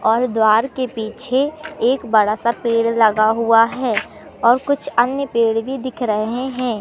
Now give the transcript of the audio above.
और द्वार के पीछे एक बड़ा सा पेड़ लगा हुआ है और कुछ अन्य पेड़ भी दिख रहे हैं।